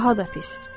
Bu daha da pis.